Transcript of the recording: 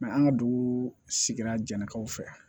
an ka dugu sigira jɛnnakaw fɛ